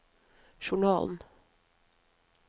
journalen